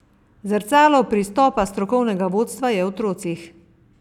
Zrcalo pristopa strokovnega vodstva je v otrocih.